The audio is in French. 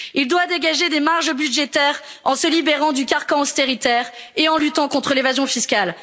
il doit dégager des marges budgétaires en se libérant du carcan austéritaire et en luttant contre l'évasion fiscale.